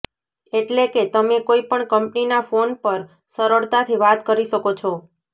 એટલે કે તમે કોઈ પણ કંપનીના ફોન પર સરળતાથી વાત કરી શકો છો